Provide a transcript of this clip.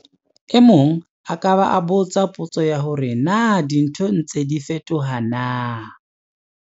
E mong a ka ba a botsa potso ya hore 'Na dintho di ntse di fetoha na?'